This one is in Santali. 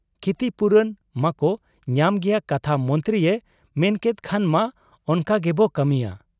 ᱠᱷᱤᱛᱤᱯᱩᱨᱚᱱ ᱢᱟᱠᱚ ᱧᱟᱢ ᱜᱮᱭᱟ ᱠᱟᱛᱷᱟ ᱢᱚᱱᱛᱨᱤᱭᱮ ᱢᱮᱱᱠᱮᱫ ᱠᱷᱟᱱ ᱢᱟ ᱚᱱᱠᱟᱜᱮᱵᱚ ᱠᱟᱹᱢᱤᱭᱟ ᱾